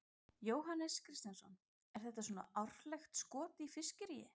Jóhannes Kristjánsson: Er þetta svona árlegt skot í fiskiríi?